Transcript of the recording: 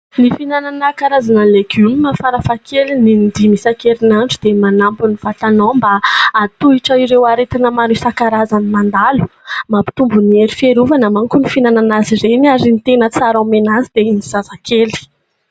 Ny fihinanana karazana legioma farafahakeliny in-dimy isan-kerin'andro dia manampy ny vatanao mba ahatohitra ireo aretina maro isan-karazany mandalo, mampitombo ny hery fiarovana mankoa ny fihinanana azy ireny ary ny tena tsara omena azy dia ny zazakely.